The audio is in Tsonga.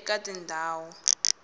eka tindhawu